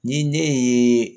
Ni ne ye